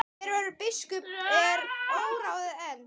Hver verður biskup er óráðið enn.